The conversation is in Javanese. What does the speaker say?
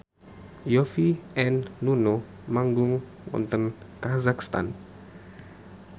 Yovie and Nuno manggung wonten kazakhstan